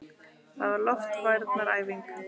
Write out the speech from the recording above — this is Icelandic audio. Það var loftvarnaæfing!